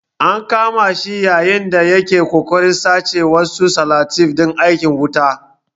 An kama shi yayin da ya ke ƙoƙarin sace wasu salatif ɗin aikin wuta.